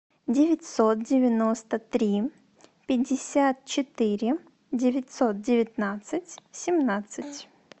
девятьсот девяносто три пятьдесят четыре девятьсот девятнадцать семнадцать